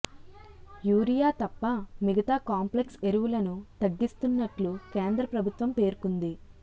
urea తప్ప మిగతా complex ఎరువులను తగ్గిస్తునట్లు కేంద్ర ప్రభుత్వం పేర్కొంది